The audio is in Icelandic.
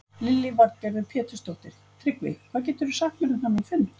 Lillý Valgerður Pétursdóttir: Tryggvi, hvað geturðu sagt mér um þennan fund?